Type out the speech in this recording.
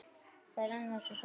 Það rennur af þessu svæði.